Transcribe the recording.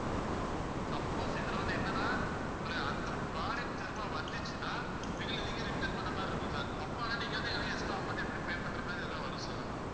suppose இதுல வந்து, என்னன்னா உங்களுக்கு அந்த product திரும்ப வந்துச்சுன்னா எங்களை நீங்க, return பண்ண மாரி, இருக்கும் sir அப்ப ஆனா நீங்க வந்து, எங்களுக்கு extra amount எப்படி pay பண்ற மாதிரி ஏதாவது வரும் sir ஆனா